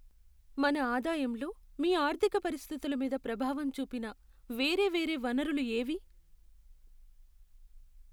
మన ఆదాయంలో మీ ఆర్థిక పరిస్థితుల మీద ప్రభావం చూపిన వేరే వేరే వనరులు ఏవి?